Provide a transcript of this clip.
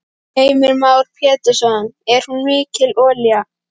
Heimir Már Pétursson: Er hún mikil olíu?